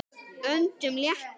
Öndum léttar.